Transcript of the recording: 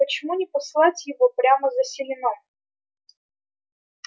почему не послать его прямо за селеном